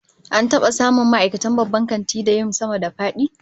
An taba samun ma'aikatan babban kantin da yin sama-da-fadi?